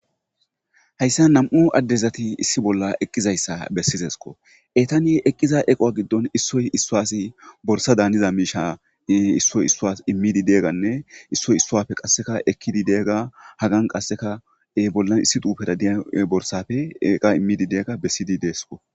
Hayssan nam7u addezathi issi bolla eqqizayssa bessizes koo; eethanii eqqida equwa giddoni issoy issuwasi borssaadaanida miishshaa issoy issuwas immiiddi diyaagaanne issoy issuwape ekkiiddi diyaagaa hagan qassika bollan issi xuufeera diya borssape qa immiiddi diyaagaa besside deesikoo.